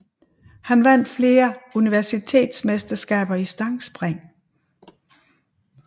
Han vandt flere universitetsmesterskaber i stangspring